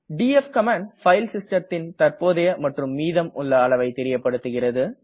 DF command file system ன் தற்போதைய மற்றும் மீதம் உள்ள அளவை தெரியப்படுகிறது